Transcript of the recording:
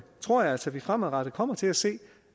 tror jeg altså at vi fremadrettet kommer til at se